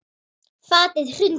Fatið hrundi saman.